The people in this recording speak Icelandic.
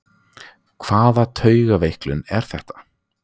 Hvaða taugaveiklun er þetta!